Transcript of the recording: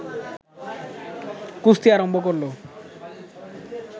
কুস্তি আরম্ভ করল